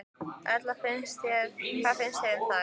Erla: Hvað finnst þér um það?